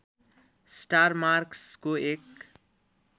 star मार्कसको एक